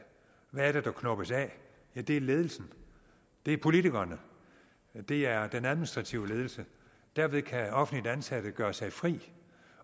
hvad er det der knoppes af ja det er ledelsen det er politikerne og det er den administrative ledelse derved kan offentligt ansatte gøre sig fri